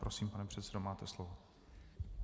Prosím, pane předsedo, máte slovo.